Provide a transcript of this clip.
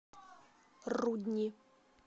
рудни